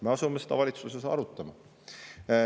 Me asume seda valitsuses arutama.